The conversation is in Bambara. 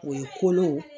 O ye kolow